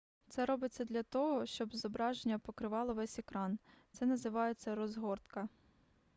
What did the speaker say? це робиться для того щоб зображення покривало весь екран це називається розгортка